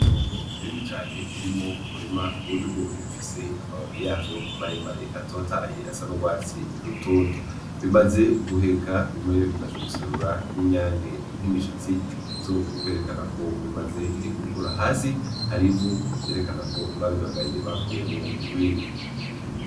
Itongo rinini cane ririmwo umurima w’ibigori bifise amababi yavyo maremare atotahaye asa n’urwatsi rutoto . Bimaze guheka bimwe bimaze guserura n’inyange nk’imishatsi bizokwerekana ko bimaze gukura, hasi hari ivu ryerekana ko babigaye bakuyenwo urwiri.